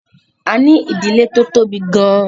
A ní ìdílé tó tóbi gan-an